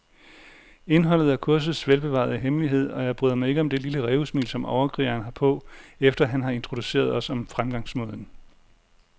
Indholdet er kursets velbevarede hemmelighed, og jeg bryder mig ikke om det lille rævesmil, som overkrigeren har på, efter han har introduceret os om fremgangsmåden.